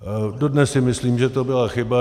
Dodnes si myslím, že to byla chyba.